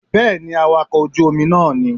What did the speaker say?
Bẹ́ẹ̀ni awakọ̀ ojú Omi náà ní